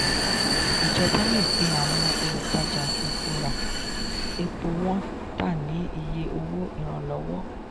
ìjọba le pe àwọn olùtajà epo ra epo wọn ta ní iye owó ìranlọ́wọ́.